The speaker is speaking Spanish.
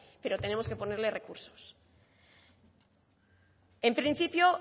pero tenemos que ponerle recursos en principio